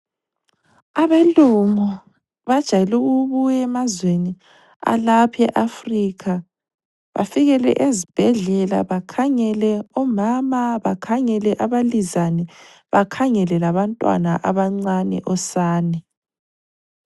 Abelungu bajayele ukubuya emazweni alapha eAfrica bafikele ezibhedlela, bakhangele omama, bakhangele abalizane, bakhangele abantwana abancane, osane.